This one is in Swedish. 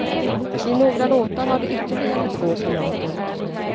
I några låtar har de ytterligare två kamrater.